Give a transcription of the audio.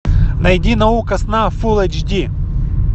найди наука сна фулл эйч ди